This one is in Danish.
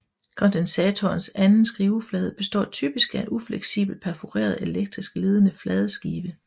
Kondensatorens anden skiveflade består typisk af en ufleksibel perforeret elektrisk ledende fladeskive